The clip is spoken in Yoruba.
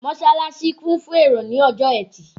Mọ́ṣálásí kún fún èrò ní ọjọ́ ẹtì.